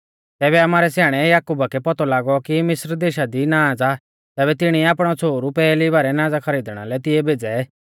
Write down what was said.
तैबै आमारै स्याणै याकुबा कै पौतौ लागौ कि मिस्र देशा दी नाज़ आ तैबै तिणिऐ आपणै छ़ोहरु पैहली बारै नाज़ा खरीदणा लै तिऐ भेज़ै